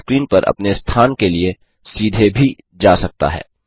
यह स्क्रीन पर अपने स्थान के लिए सीधे भी जा सकता है